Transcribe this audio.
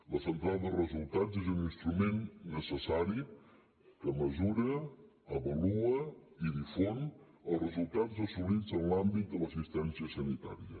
la central de resultats és un instrument necessari que mesura avalua i difon els resultats assolits en l’àmbit de l’assistència sanitària